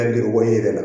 A juru bɔlen